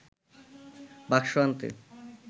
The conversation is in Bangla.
বাক্স আনতে